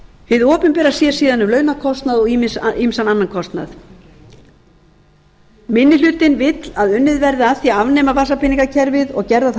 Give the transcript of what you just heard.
hið opinbera sér síðan um launakostnað og ýmsan annan kostnað minni hlutinn vill að unnið verði að því að afnema vasapeningakerfið og gerðar þær